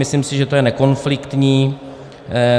Myslím si, že to je nekonfliktní.